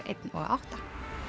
einn og átta